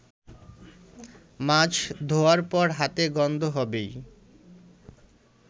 মাছ ধোয়ার পর হাতে গন্ধ হবেই।